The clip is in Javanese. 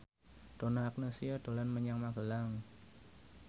Donna Agnesia dolan menyang Magelang